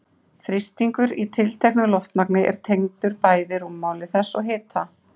Þrýstingur í tilteknu loftmagni er tengdur bæði rúmmáli þess og hita.